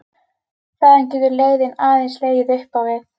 Þaðan getur leiðin aðeins legið upp á við.